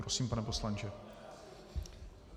Prosím, pane poslanče.